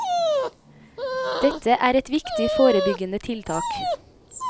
Dette er et viktig forebyggende tiltak.